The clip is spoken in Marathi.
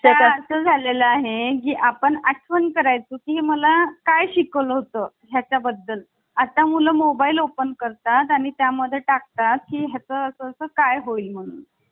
आता असं झालेला आहे आपण आपण करायचं की मला काय शिकवलं होतं याच्या बद्दल आता मुलं मोबाईल ओपन करतात आणि त्या मध्ये टाकता की हे असं काय होईल म्हणून